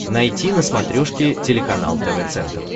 найти на смотрешке телеканал тв центр